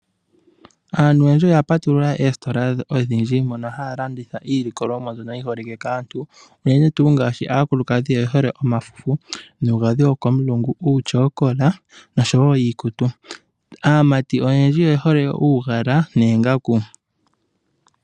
Aantu oyendji oya patulula oositola odhindji mono haya landitha iinima mbyono yiholike kaantu. Unene tuu ngaashi aakulukadhi oyehole omafufu, nuugadhi wokomulungu, uutyokola nosho wo iikutu. Aamati oyendji oyehole uugala noongaku.